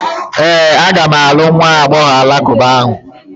Ee, aga m alụ nwa agbọghọ alakụba ahụ.